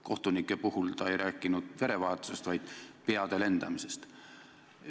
Kohtunike puhul ta ei rääkinud verevahetusest, vaid peade lendamisest.